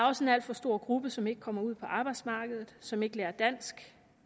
også en alt for stor gruppe som ikke kommer ud på arbejdsmarkedet som ikke lærer dansk